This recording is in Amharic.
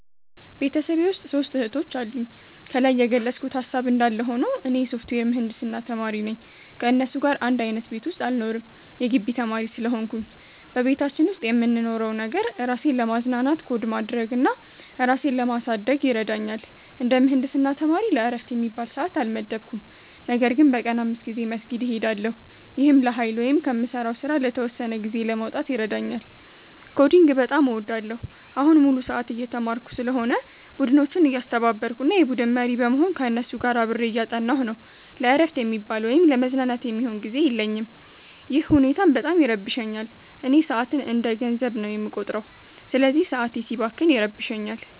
ቤተሰቤ ውስጥ ሦስት እህቶች አሉኝ። ከላይ የገለጽኩት ሃሳብ እንዳለ ሆኖ፣ እኔ የሶፍትዌር ምህንድስና ተማሪ ነኝ። ከእነሱ ጋር አንድ አይነት ቤት ውስጥ አልኖርም የጊቢ ተማሪ ስለሆንኩኝ። በቤታችን ውስጥ የምንኖረው ነገር፣ ራሴን ለማዝናናት ኮድ ማድረግ እና ራሴን ለማሳደግ ይረዳኛል። እንደ ምህንድስና ተማሪ ለዕረፍት የሚባል ሰዓት አልመደብኩም፤ ነገር ግን በቀን 5 ጊዜ መስጊድ እሄዳለሁ። ይህም ለኃይል ወይም ከምሠራው ሥራ ለተወሰነ ጊዜ ለመውጣት ይረዳኛል። ኮዲንግን በጣም እወዳለሁ። አሁን ሙሉ ሰዓት እየተማርኩ ስለሆነ፣ ቡድኖችን እያስተባበርኩ እና የቡድን መሪ በመሆን ከእነሱ ጋር አብሬ እያጠናሁ ነው። ለዕረፍት የሚባል ወይም ለመዝናናት የሚሆን ጊዜ የለኝም፤ ይህ ሁኔታም በጣም ይረብሸኛል። እኔ ሰዓትን እንደ ገንዘብ ነው የምቆጥረው፤ ስለዚህ ሰዓቴ ሲባክን ይረብሸኛል